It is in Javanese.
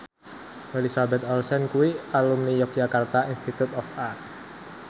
Elizabeth Olsen kuwi alumni Yogyakarta Institute of Art